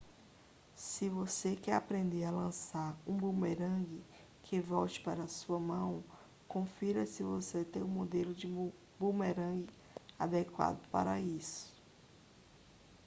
se você quer aprender a lançar um bumerangue que volte para sua mão confira se você tem um modelo de bumerangue adequado para isso